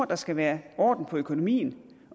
der skal være orden i økonomien